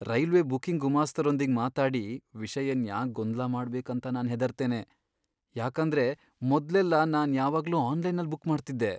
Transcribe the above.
Railway booking ಗುಮಾಸ್ತರೊಂದಿಗ್ ಮಾತಾಡಿ ವಿಷಯನ್ ಯಾಕ್ ಗೊಂದ್ಲ ಮಾಡ್ಬೇಕ್ ಅಂತ ನಾನ್ ಹೆದರ್ತೆನೆ, ಯಾಕಂದ್ರೆ ಮೊದ್ಲೆಲ್ಲಾ ನಾನ್ ಯಾವಾಗ್ಲೂ ಆನ್ಲೈನ್ನಲ್ ಬುಕ್ ಮಾಡ್ತಿದ್ದೆ.